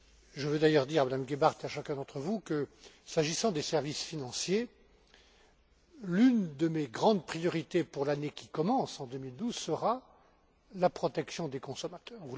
Je veux d'ailleurs dire à Mme Gebhardt et à chacun d'entre vous que, s'agissant des services financiers, l'une de mes grandes priorités pour l'année qui commence en 2012 sera la protection des consommateurs.